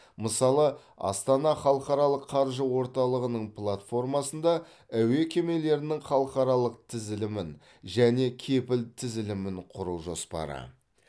мысалы астана халықаралық қаржы орталығының платформасында әуе кемелерінің халықаралық тізілімін және кепіл тізілімін құру жоспары